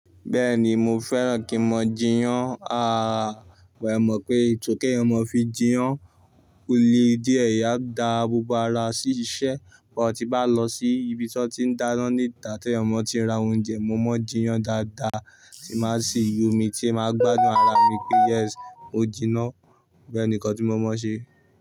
Bẹ́ẹ̀ni mo fẹ́ràn kí n máa jiyán, àrà wà ẹ mọ̀ pé ètò kí ẹ̀mọ̀ fi jiyán, ole díẹ̀ ẹ̀yà gba abubu ara sí iṣẹ́, bí wọ́n ti bá lọ sí ibi tí wọ́n ti ń dáná ní ìtà tí ẹ̀mọ̀ ti ń ra oúnjẹ, mo máa ń jiyán dáadáa, tí máa sì yómi tí ẹ máa gbádùn ara mi pé yes o jiná, bẹ́ẹ̀ nìkan tí mo máa ń ṣe.